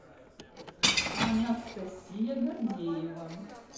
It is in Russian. анастасия гордеева